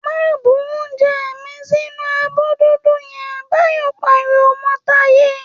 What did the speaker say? ‘Má bu oúnje̩ mi sínú abó̩ dúdú ye̩n!’, Báyò̩ pariwo mó̩ Táyé